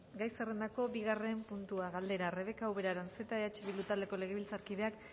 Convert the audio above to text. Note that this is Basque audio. gai zerrendako bigarren puntua galdera rebeka ubera aranzeta eh bildu taldeko legebiltzarkideak